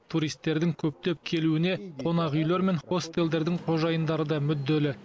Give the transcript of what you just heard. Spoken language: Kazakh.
туристердің көптеп келуіне қонақ үйлер мен хостелдердің қожайындары да мүдделі